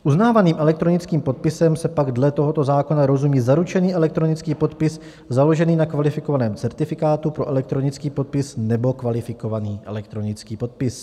Uznávaným elektronickým podpisem se pak dle tohoto zákona rozumí zaručený elektronický podpis založený na kvalifikovaném certifikátu pro elektronický podpis nebo kvalifikovaný elektronický podpis.